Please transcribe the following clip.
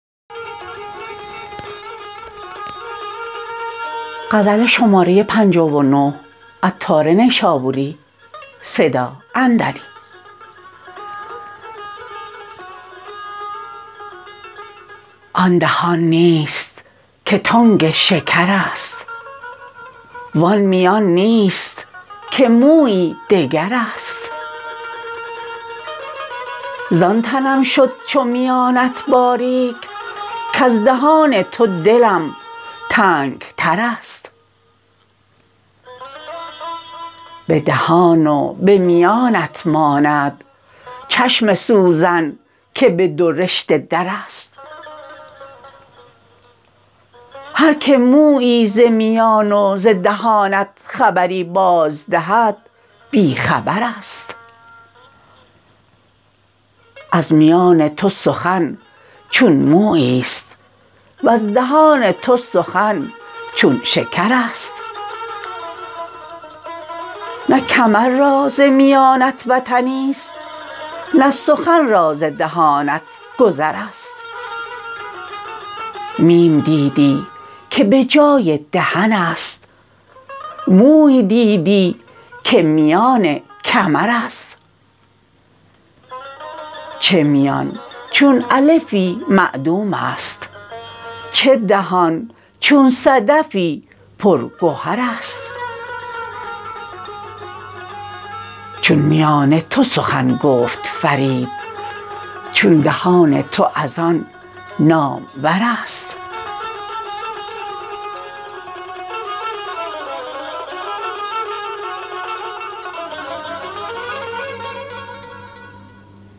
آن دهان نیست که تنگ شکر است وان میان نیست که مویی دگر است زان تنم شد چو میانت باریک کز دهان تو دلم تنگ تر است به دهان و به میانت ماند چشم سوزن که به دو رشته در است هر که مویی ز میان و ز دهانت خبری باز دهد بی خبر است از میان تو سخن چون مویی است وز دهان تو سخن چون شکر است نه کمر را ز میانت وطنی است نه سخن را ز دهانت گذر است میم دیدی که به جای دهن است موی دیدی که میان کمر است چه میان چون الفی معدوم است چه دهان چون صدفی پر گوهر است چون میان تو سخن گفت فرید چون دهان تو از آن نامور است